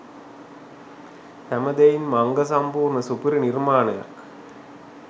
හැම දෙයින්ම අංග සම්පූර්ණ සුපිරි නිර්මාණයක්.